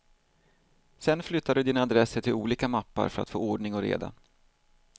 Sedan flyttar du dina adresser till olika mappar för att få ordning och reda.